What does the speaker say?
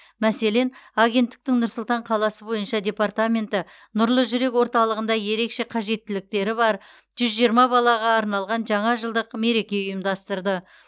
мәселен агенттіктің нұр сұлтан қаласы бойынша департаменті нұрлы жүрек орталығында ерекше қажеттіліктері бар жүз жиырма балаға арналған жаңа жылдық мереке ұйымдастырды